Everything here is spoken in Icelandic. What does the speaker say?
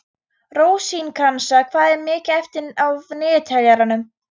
Rósinkransa, hvað er mikið eftir af niðurteljaranum?